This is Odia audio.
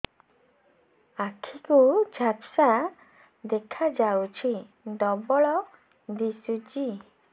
ଆଖି କୁ ଝାପ୍ସା ଦେଖାଯାଉଛି ଡବଳ ଦିଶୁଚି